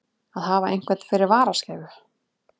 Að hafa einhvern fyrir varaskeifu